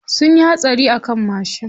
Sunyi hatsari a kan mashin.